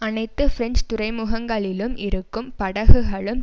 அனைத்து பிரெஞ்சு துறைமுகங்களிலும் இருக்கும் படகுகளும்